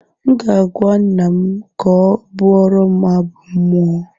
M ga-agwa nna m ka ọ bụọrọm abụ mmụọ